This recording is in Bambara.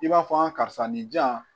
I b'a fɔ karisa nin jan